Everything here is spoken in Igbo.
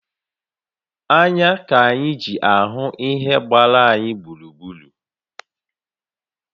Anya ka anyị ji ahụ ihe gbara anyị gburugburu